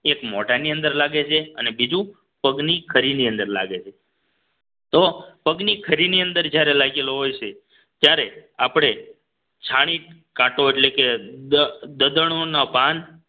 એક મોઢાની અંદર લાગે છે અને બીજું પગની ખરી ની અંદર લાગે છે તો પગની ખરી ની અંદર જ્યારે લાગેલો હોય છે ત્યારે આપણે છાણી કાટો એટલે કે દ દદણો ના પાન